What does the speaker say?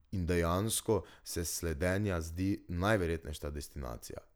In dejansko se slednja zdi najverjetnejša destinacija.